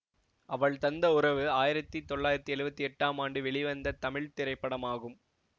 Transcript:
அவள் தந்த உறவு ஆயிரத்தி தொள்ளாயிரத்தி எழுவத்தி எட்டாம் ஆண்டு வெளிவந்த தமிழ் திரைப்படமாகும்